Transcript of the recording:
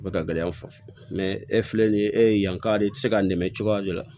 O bɛ ka gɛlɛyan fo mɛ e filɛ nin ye e ye yanka de i tɛ se k'a nɛmɛ cogoya de la